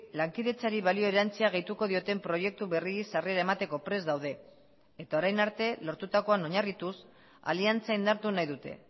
lankidetzari balio erantsia gehituko dioten proiektu berri sarrera emateko prest daude eta orain arte lortutakoan oinarrituz aliantza indartu nahi dute